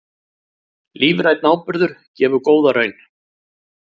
Lífrænn áburður gefur góða raun